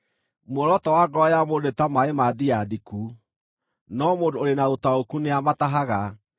Muoroto wa ngoro ya mũndũ nĩ ta maaĩ ma ndia ndiku, no mũndũ ũrĩ na ũtaũku nĩamatahaga.